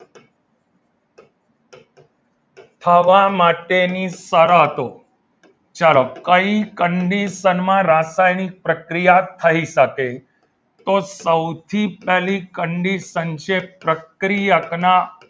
હવા માટેની શરતો ચલો કઈ condition માં રાસાયણિક પ્રક્રિયા થઈ શકે તો સૌથી પહેલી condition છે પ્રક્રિયકના